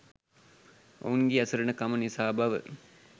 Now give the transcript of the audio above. ඔවුන්ගේ අසරණකම නිසා බව